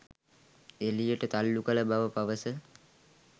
එළියට තල්ලු කළ බව පවස